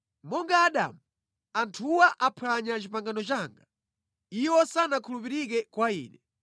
Monga Adamu, anthuwa aphwanya pangano langa, iwo sanakhulupirike kwa Ine.